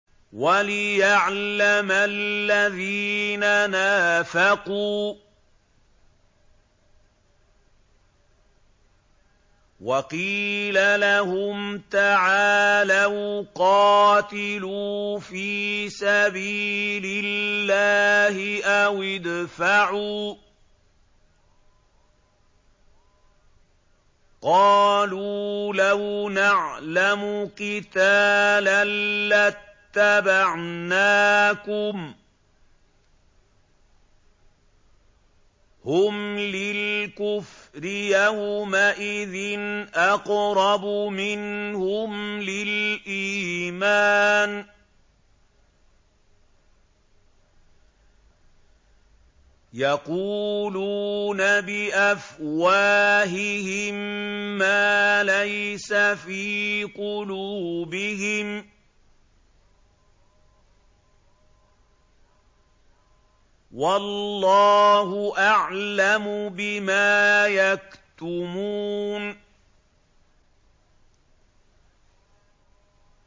وَلِيَعْلَمَ الَّذِينَ نَافَقُوا ۚ وَقِيلَ لَهُمْ تَعَالَوْا قَاتِلُوا فِي سَبِيلِ اللَّهِ أَوِ ادْفَعُوا ۖ قَالُوا لَوْ نَعْلَمُ قِتَالًا لَّاتَّبَعْنَاكُمْ ۗ هُمْ لِلْكُفْرِ يَوْمَئِذٍ أَقْرَبُ مِنْهُمْ لِلْإِيمَانِ ۚ يَقُولُونَ بِأَفْوَاهِهِم مَّا لَيْسَ فِي قُلُوبِهِمْ ۗ وَاللَّهُ أَعْلَمُ بِمَا يَكْتُمُونَ